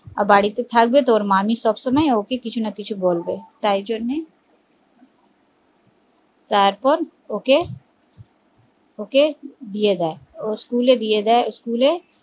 আর বাড়িতে থাকবে তো ওর মামী সব সময় কিছুনা কিছু বলবেই তাই জন্যে তারপর ওকে দিয়ে দেয় ও school এ দিয়ে দেয়